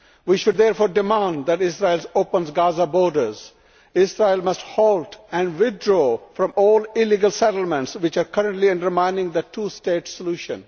We should therefore demand that Israel open Gaza's borders. Israel must halt and withdraw from all illegal settlements, which are currently undermining the two stage solution.